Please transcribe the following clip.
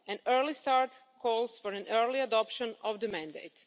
An early start calls for an early adoption of the mandate.